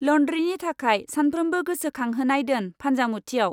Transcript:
लौन्द्रिनि थाखाय सामफ्रोम्बो गोसोखांहोनाय दोन फानजामुथियाव।